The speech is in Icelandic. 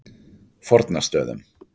Fornastöðum